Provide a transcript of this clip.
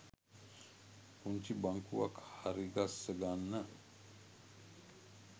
පුංචි බංකුවක් හරිගස්ස ගන්න